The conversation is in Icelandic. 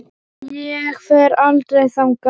Ég fer aldrei þangað.